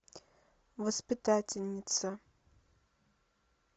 воспитательница